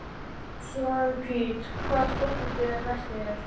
Svanhvít, hvaða stoppistöð er næst mér?